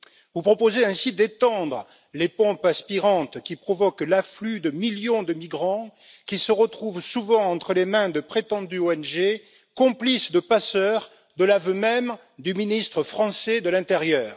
Vous proposez ainsi d'étendre les pompes aspirantes qui provoquent l'afflux de millions de migrants, qui se retrouvent souvent entre les mains de prétendues ONG, complices de passeurs, de l'aveu même du ministre français de l'intérieur.